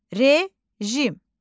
Rejim.